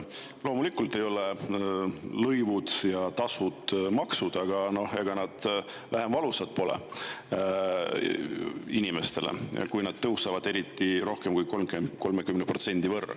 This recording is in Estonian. Loomulikult ei ole lõivud ja tasud maksud, aga ega nad vähem valusad pole inimestele, kui nad tõusevad, eriti siis, kui rohkem kui 30% võrra.